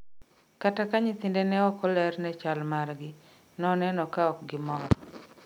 Kata ka nyithinde ne ok ler ne chal margi, ne oneno ka ok gimor